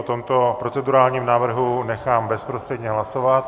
O tomto procedurálním návrhu nechám bezprostředně hlasovat.